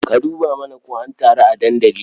Ka dubo mana ko an taru a dandali.